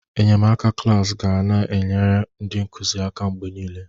Enyemaka klaasị ga na-enyere ndị nkuzi aka mgbe niile.